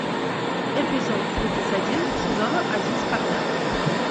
эпизод тридцать один сезона один спартак